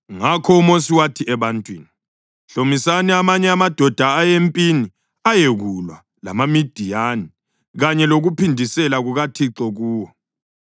Ngakho uMosi wathi ebantwini, “Hlomisani amanye amadoda aye empini ayekulwa lamaMidiyani kanye lokuphindisela kukaThixo kuwo.